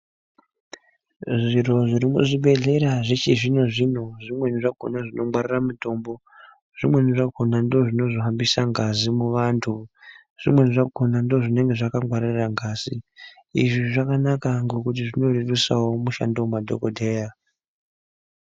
Zviro zviri muchibhohleya zvechizvino zvino zvimweni zvakona zvinongwarira Mitombo zvimweni zvakona ndozvinozohambisa ngazi muvantu zvimweni zvakona ndozvinenge zvakangwarira ngazi izvi zvakanaka ngekuti zvinorerusawo mishando kumadhokodheya.